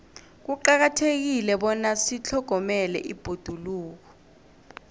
kuqakathekile bona sitlhogomele ibhoduluko